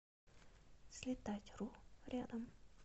слетатьру рядом